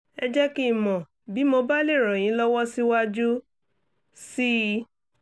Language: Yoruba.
ẹ jẹ́ kí n mọ̀ bí mo bá lè ràn yín lọ́wọ́ síwájú sí i